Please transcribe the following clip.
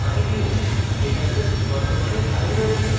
mynewdatabase বর্তমানে খালি রয়েছে